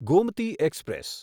Gomti express